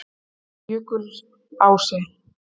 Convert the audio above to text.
Jökulási